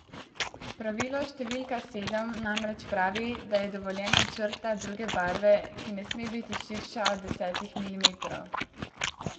Pravilo številka sedem namreč pravi, da je dovoljena črta druge barve, ki ne sme biti širša od desetih milimetrov.